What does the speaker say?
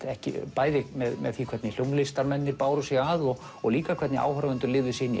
bæði með því hvernig hljómlistarmennirnir báru sig að og og líka hvernig áhorfendur lifðu sig inn